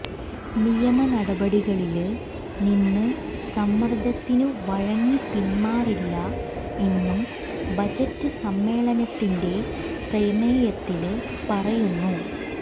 നിയമനടപടികളില് നിന്ന് സമ്മര്ദത്തിനു വഴങ്ങി പിന്മാറില്ല എന്നും ബജറ്റ് സമ്മേളനത്തിന്റെ പ്രമേയത്തില് പറയുന്നു